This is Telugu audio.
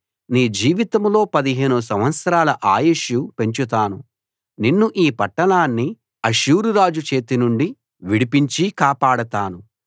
నీ జీవితంలో 15 సంవత్సరాల ఆయుష్షు పెంచుతాను నిన్ను ఈ పట్టణాన్ని అష్షూరు రాజు చేతి నుండి విడిపించి కాపాడతాను